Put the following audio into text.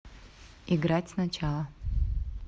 играть сначала